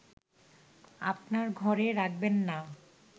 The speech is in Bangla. আপনার ঘরে রাখবেন না